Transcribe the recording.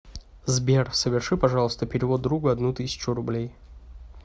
сбер соверши пожалуйста перевод другу одну тысячу рублей